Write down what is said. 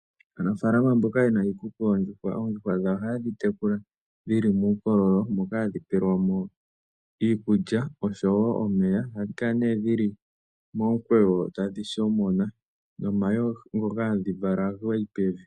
Aanafalama yondjuhwa oha yedhi tekula dhili muukololo moka hadhi pelwa iikulya oshowo omeya. Ohadhi kala dhili momukweyo tadhi shomona nomayi ngoka hadhi vala ohaga yi pevi.